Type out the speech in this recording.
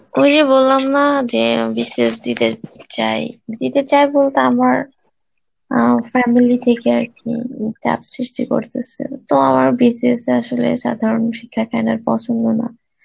ওই যে বললাম না যে BCS দিতে চাই, দিতে চাই বলতে আমার অ্যাঁ family থেকে আরকি উম চাপ সৃষ্টি করতাসে, তো আমার BCS এ আসলে সাধারণ পছন্দ না